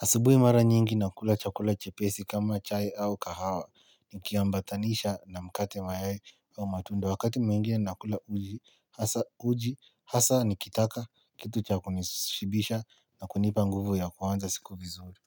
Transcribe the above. Asibui mara nyingi nakula chakula chepesi kama chai au kahawa ni kiambatanisha na mkate mayai au matunda wakati mwingine nakula uji hasa ni kitaka kitu cha kunishibisha na kunipa nguvu ya kuwanza siku vizuri.